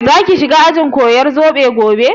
Za ki shiga ajin koyar zobo gobe?